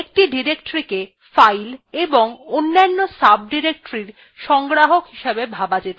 একটি directoryকে files এবং অন্যান্য sub directories এর সংগ্রাহক হিসেবে ভাবা যেতে পারে